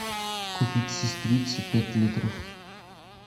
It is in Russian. купить сестрицы пять литров